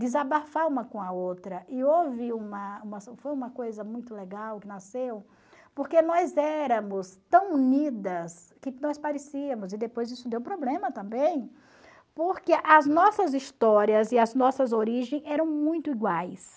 desabafar uma com a outra, e houve uma foi uma coisa muito legal que nasceu, porque nós éramos tão unidas que nós parecíamos, e depois isso deu problema também, porque as nossas histórias e as nossas origem eram muito iguais.